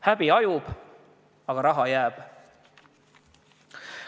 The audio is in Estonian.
Häbi hajub, aga raha jääb.